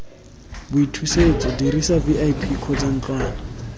boithusetso dirisa vip kgotsa ntlwana